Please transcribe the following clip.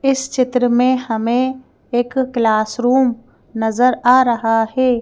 इस चित्र में हमें एक क्लासरूम नजर आ रहा है।